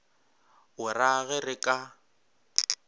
o ra ge re ka